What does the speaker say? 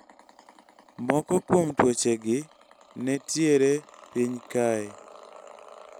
moko kuom tuoche gi netiere piny kae